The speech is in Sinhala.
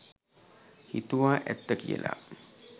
හිතුවා ඇත්ත කියලා.